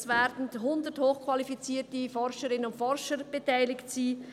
Es werden 100 hochqualifizierte Forscherinnen und Forscher beteiligt sein.